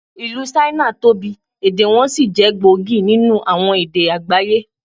Ìlú Ṣáínà tóbi, èdè wọn sì jẹ́ gbòógì nínú àwọn èdè àgbáyé.